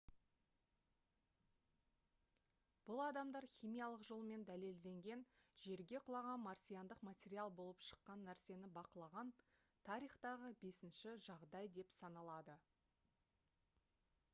бұл адамдар химиялық жолмен дәлелденген жерге құлаған марсиандық материал болып шыққан нәрсені бақылаған тарихтағы бесінші жағдай деп саналады